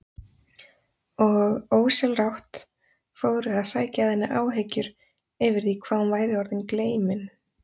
Og ósjálfrátt fóru að sækja að henni áhyggjur yfir því hvað hún væri orðin gleymin.